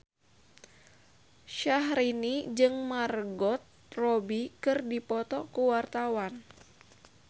Syahrini jeung Margot Robbie keur dipoto ku wartawan